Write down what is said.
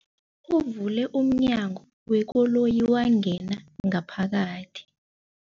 Uvule umnyango wekoloyi wangena ngaphakathi.